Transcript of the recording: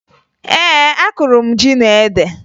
Ee, akụrụ m ji na ede